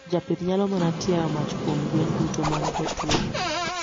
Japith nyalo mana tiayo mach kuom gwen duto man kod tuo.